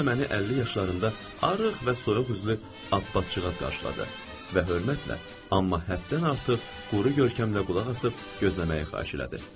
Orda məni 50 yaşlarında arıq və soyuq üzlü Abbatçıqaz qarşıladı və hörmətlə, amma həddən artıq quru görkəmlə qulaq asıb gözləməyi xahiş elədi.